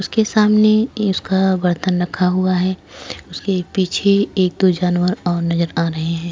उसके सामने उसका बर्तन रखा हुआ है उसके पीछे एक दो जानवर और नजर आ रहे हैं।